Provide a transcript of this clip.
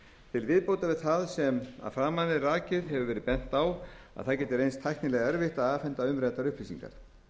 til viðbótar við það sem að framan er rakið hefur verið bent á að það geti reynst tæknilega erfitt að afhenda umræddar upplýsingar